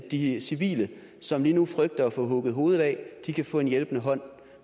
de civile som lige nu frygter at få hugget hovedet af kan få en hjælpende hånd